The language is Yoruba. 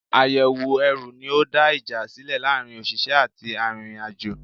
Àyẹ̀wò ẹrù ní ó dá ìjà sílẹ̀ láàárín òṣìṣẹ́ àti arìnrìn-àjò.